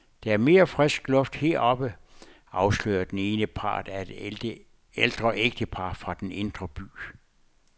Der er mere frisk luft heroppe, afslørede den ene part af et ældre ægtepar fra den indre by.